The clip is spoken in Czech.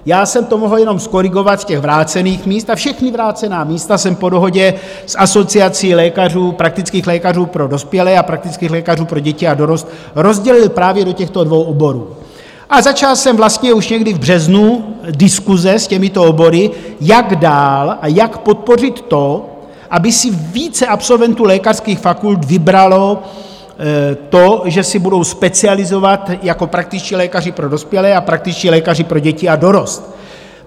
Já jsem to mohl jenom zkorigovat z těch vrácených míst a všechna vrácená místa jsem po dohodě s asociací lékařů, praktických lékařů pro dospělé a praktických lékařů pro děti a dorost rozdělil právě do těchto dvou oborů a začal jsem vlastně už někdy v březnu diskuse s těmito obory, jak dál a jak podpořit to, aby si více absolventů lékařských fakult vybralo to, že se budou specializovat jako praktičtí lékaři pro dospělé a praktičtí lékaři pro děti a dorost.